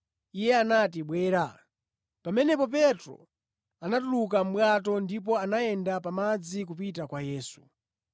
Iye anati, “Bwera.” Pamenepo Petro anatuluka mʼbwato ndipo anayenda pa madzi kupita kwa Yesu.